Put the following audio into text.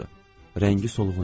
Rəngi solğun idi.